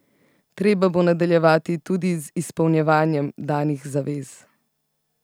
Treba bo nadaljevati tudi z izpolnjevanjem danih zavez.